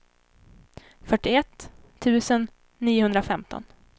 fyrtioett tusen niohundrafemton